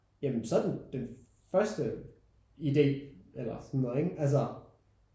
Ja men så er den den første idé eller sådan noget ikke altså